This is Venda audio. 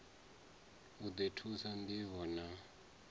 u ḓi thusa ṋdivho na